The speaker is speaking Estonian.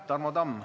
Tarmo Tamm.